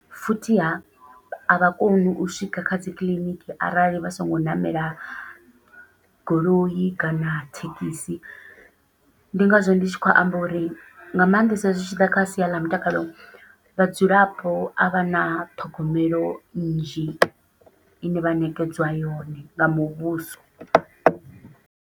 Futhi ha avha koni u swika kha dzi kiḽiniki arali vha songo ṋamela goloi kana thekhisi, ndi ngazwo ndi tshi khou amba uri nga maanḓesa zwi tshiḓa kha sia ḽa mutakalo vhadzulapo avha na ṱhogomelo nnzhi ine vha ṋekedzwa yone nga muvhuso.